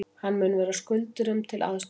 Hann mun vera skuldurum til aðstoðar